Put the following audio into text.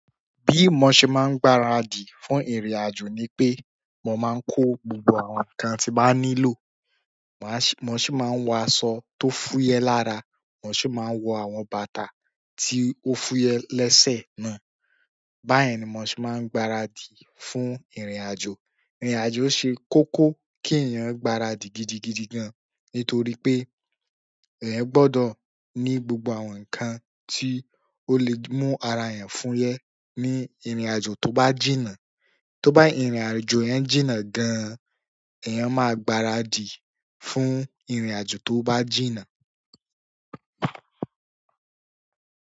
Bí mo ṣe máa ń gbaradì fún ìrìnàjò ni pé, mo máa ń kó gbogbo àwọn nǹkan tí màá nílò. Màá sì, mo sì máa ń wọ aṣọ tó fúyẹ́ lára, mo sì máa ń wọ àwọn bàtà tí ó fúyẹ́ lẹ́sẹ̀ náà. Baye ni mo se maa n gbara di fún irin ajo. Irin ajo se koko ki eeyan gbara di gidi gidi gan nítorí wípé eeyan gbodo ni gbogbo àwọn nkan ti ole mu ara eeyan fuye ni irin ajo to ba ji náà. Tó bá ìrìnàjò èèyàn jìnnà gan-an, èèyàn máa gbaradì fún ìrìnàjò tó bá jìnnà.